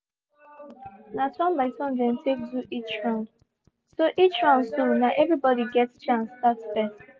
na turn by turn dem take do each round so each round so na every body get chance start first